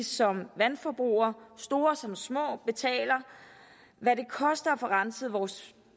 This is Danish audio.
som vandforbrugere store som små betaler hvad det koster at få renset vores